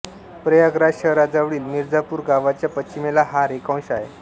प्रयागराज शहराजवळील मिर्झापूर गावाच्या पश्चिमेला हा रेखांश आहे